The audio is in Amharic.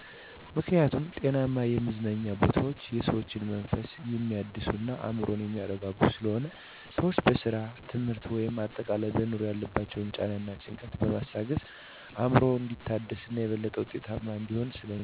ምክኒያቱም ጤናማ የመዝናኛ ቦታወች የሰዎችን መንፈስ የሚያድሱ እና አዕምሮን የሚያረጋጉ ስለሆኑ። ሰወች በስራ፣ ትምህርት ወይም አጠቃላይ በኑሮ ያለባቸውን ጫና እና ጭንቀትን በማስታገስ አዕምሮ እንዲታደስ እና የበለጠ ውጤታማ እንዲሆን ስለሚረዱ።